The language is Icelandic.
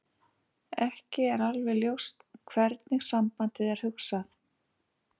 Ekki er alveg ljóst hvernig sambandið er hugsað.